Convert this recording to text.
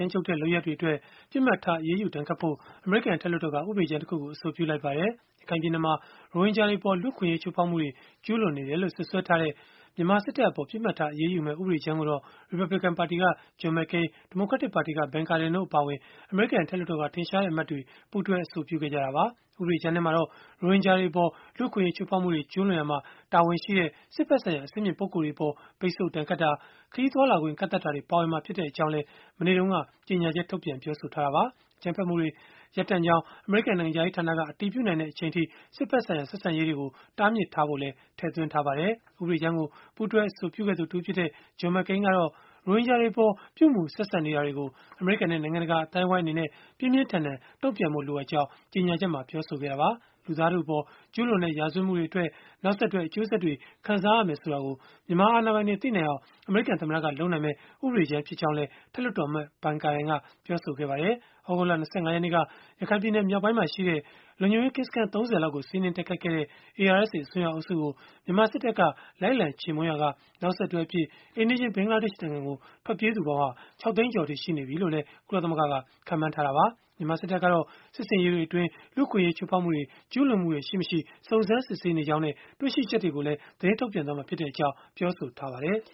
မ်းကြုတ်တဲ့ လုပ်ရပ်တွေအတွက် ပစ်မှတ်ထား အရေးယူဒဏ်ခတ်ဖို့ အမေရိကန် အထက်လွှတ်တော်က ဥပဒေကြမ်းတခုကို အဆိုပြုလိုက်ပါတယ်။ ရခိုင်ပြည်နယ်မှာ ရိုဟင်ဂျာတွေအပေါ် လူ့အခွင့်အရေး ချိုးဖောက်မှုတွေ ကျုးလွန်နေတယ်လို့ စွပ်စွဲထားတဲ့ မြန်မာစစ်တပ်အပေါ် ပစ်မှတ်ထား အရေးယူမယ့် ဥပဒေကြမ်းကိုတော့ ရီပတ်ဘလစ်ကန် ပါတီက John McCain ဒီမိုကရက်တစ်ပါတီက Ben Cardin တို့ အပါအဝင် အမေရိကန် အထက်လွှတ်တော်က ထင်ရှားတဲ့ အမတ်တွေ ပူးတွဲ အဆိုပြုခဲ့ကြတာပါ။ ဥပဒေကြမ်းမှာတော့ ရိုဟင်ဂျာတွေအပေါ် လူ့အခွင့်အရေး ချိုးဖောက်မှုတွေ ကျုးလွန်ရာမှာ တာဝန်ရှိတဲ့ စစ်ဘက်ဆိုင်ရာ အဆင့်မြင့် ပုဂ္ဂိုလ်တွေအပေါ် ပိတ်ဆို့ဒဏ်ခတ်တာ၊ ခရီးသွားလာခွင့် ကန့်သတ်တာတွေ ပါဝင်မှာဖြစ်ကြောင်းလည်း မနေ့တုန်းက ကြေညာချက် ထုတ်ပြန်ပြောဆိုခဲ့တာပါ။ အကြမ်းဖက်မှုတွေ ရပ်တန့်ကြောင်း အမေရိကန် နိုင်ငံခြားရေးဌာနက အတည်ပြုနိုင်တဲ့ အချိန်အထိ စစ်ဘက်ဆိုင်ရာ ဆက်ဆံရေးတွေကို တားမြစ်ထားဖို့လည်း ထည့်သွင်းထားပါတယ်။ ဥပဒေကြမ်းကို ပူးတွဲ အဆိုပြုခဲ့သူ တဦးဖြစ်တဲ့ John McCain ကတော့ ရိုဟင်ဂျာတွေအပေါ် ပြုမူဆက်ဆံနေတာတွေကို အမေရိကန်နဲ့ နိုင်ငံတကာ အသိုင်းအဝန်းအနေနဲ့ ပြင်းပြင်းထန်ထန် တုန့်ပြန်ဖို့ လိုအပ်ကြောင်း ကြေညာချက်မှာ ပြောဆိုခဲ့တာပါ။ လူသားထုအပေါ် ကျုးလွန်တဲ့ ရာဇဝတ်မှုတွေအတွက် နောက်ဆက်တွဲ အကျိုးဆက်တွေ ခံစားရမယ် ဆိုတာကို မြန်မာအာဏာပိုင်တွေ သိနိုင်အောင် အမေရိကန်သမ္မတက လုပ်နိုင်မယ့် ဥပဒေကြမ်း ဖြစ်ကြောင်းလည်း အထက်လွှတ်တော်အမတ် Ben Cardin က ပြောဆိုခဲ့ပါတယ်။ သြဂုတ်လ ၂၅ ရက်နေ့က ရခိုင်ပြည်နယ် မြောက်ပိုင်းမှာရှိတဲ့ လုံခြုံရေးကင်းစခန်း ၃၀ လောက်ကို စီးနင်းတိုက်ခိုက်ခဲ့တဲ့ ARSA အစွန်းရောက်အုပ်စုကို မြန်မာစစ်တပ်က လိုက်လံ ချေမှုန်းရာက နောက်ဆက်တွဲအဖြစ် အိမ်နီးချင်း ဘင်္ဂလားဒေ့ရှ်နိုင်ငံကို ထွက်ပြေးသူပေါင်းဟာ ၆ သိန်းကျော်အထိ ရှိနေပြီလို့လည်း ကုလသမဂ္ဂက ခန့်မှန်းထားတာပါ။ မြန်မာစစ်တပ်ကတော့ စစ်ဆင်ရေးတွေအတွင်း လူ့အခွင့်အရေး ချိုးဖောက်မှုတွေ ကျုးလွန်မှုတွေ ရှိ-မရှိ စုံစမ်းစစ်ဆေးနေကြောင်းနဲ့ တွေ့ရှိချက်တွေကို သတင်းထုတ်ပြန်မှာဖြစ်ကြောင်း ပြောဆိုထားပါတယ်။